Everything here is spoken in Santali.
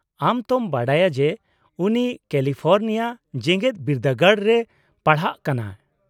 -ᱟᱢ ᱛᱚᱢ ᱵᱟᱲᱟᱭᱟ ᱡᱮ ᱩᱱᱤ ᱠᱮᱞᱤᱯᱷᱳᱨᱱᱤᱭᱟ ᱡᱮᱜᱮᱫ ᱵᱤᱫᱫᱟᱹᱜᱟᱲ ᱨᱮᱭ ᱯᱟᱲᱦᱟᱜ ᱠᱟᱱᱟ ᱾